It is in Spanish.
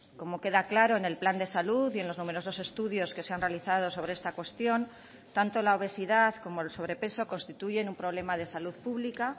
como queda claro en el plan de salud y en los numerosos estudios que se han realizado sobre esta cuestión tanto la obesidad como el sobrepeso constituyen un problema de salud pública